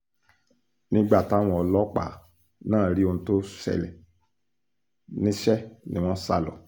nígbà táwọn ọlọ́pàá náà rí ohun tó ṣẹlẹ̀ níṣẹ́ ni wọ́n sá lọ